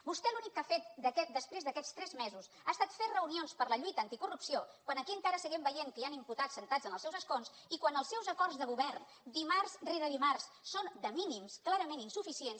vostè l’únic que ha fet després d’aquests tres mesos ha estat fer reunions per la lluita anticorrupció quan aquí encara seguim veient que hi han imputat asseguts en els seus escons i quan els seus acords de govern dimarts rere dimarts són de mínims clarament insuficients